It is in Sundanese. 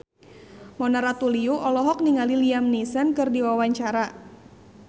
Mona Ratuliu olohok ningali Liam Neeson keur diwawancara